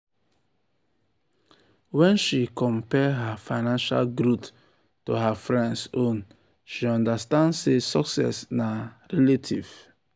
wen she compare her financial growth to her friends own she understand sey success na relative.